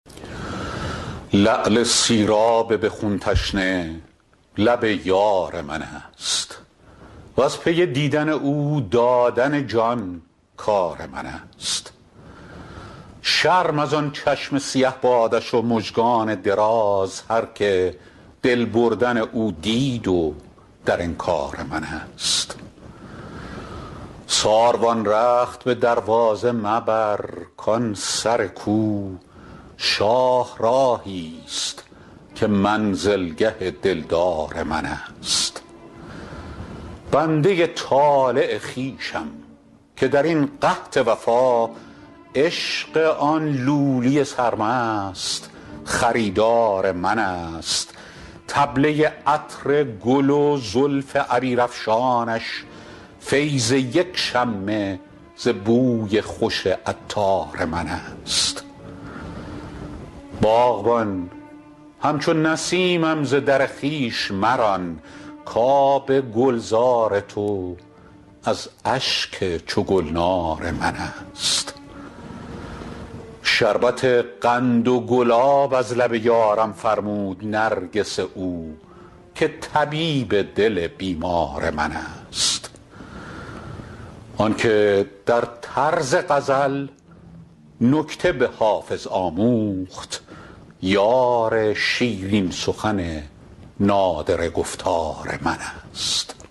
لعل سیراب به خون تشنه لب یار من است وز پی دیدن او دادن جان کار من است شرم از آن چشم سیه بادش و مژگان دراز هرکه دل بردن او دید و در انکار من است ساروان رخت به دروازه مبر کان سر کو شاهراهی ست که منزلگه دلدار من است بنده ی طالع خویشم که در این قحط وفا عشق آن لولی سرمست خریدار من است طبله ی عطر گل و زلف عبیرافشانش فیض یک شمه ز بوی خوش عطار من است باغبان همچو نسیمم ز در خویش مران کآب گلزار تو از اشک چو گلنار من است شربت قند و گلاب از لب یارم فرمود نرگس او که طبیب دل بیمار من است آن که در طرز غزل نکته به حافظ آموخت یار شیرین سخن نادره گفتار من است